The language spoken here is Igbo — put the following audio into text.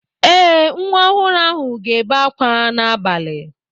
Ee, Nwa ọhụrụ ahụ ga-ebe akwa n'abalị.